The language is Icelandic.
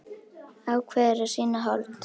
Ákveður að sýna hold.